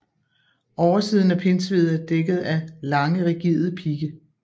Oversiden af pindsvinet er dækket af lange rigide pigge